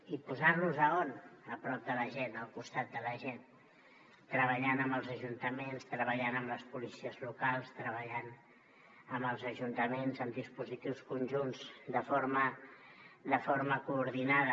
i posant los a on a prop de la gent al costat de la gent treballant amb els ajuntaments treballant amb les policies locals treballant amb els ajuntaments en dispositius conjunts de forma coordinada